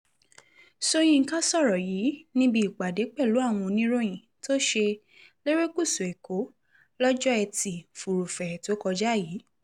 sọ̀yìnkà sọ̀rọ̀ yìí níbi ìpàdé pẹ̀lú àwọn oníròyìn tó ṣe lerékùṣù èkó lọ́jọ́ etí furuufee tó kọjá yìí